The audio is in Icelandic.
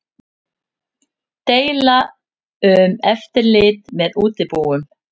Deila um eftirlit með útibúum